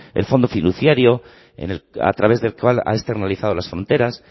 el fondo fiduciario a través del cual ha externalizado las fronteras